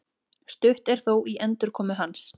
Stutt er þó í endurkomu hans